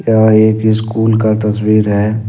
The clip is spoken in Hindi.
यह एक स्कूल का तस्वीर है।